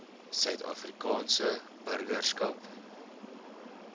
suid afrikaanse burgerskap